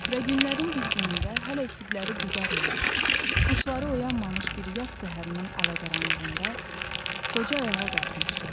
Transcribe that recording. Və günlərin bir günündə hələ üfüqləri qızarmamış, quşları oyanmamış bir yaz səhərinin ala-qaranlığında qoca ayağa qalxmışdı.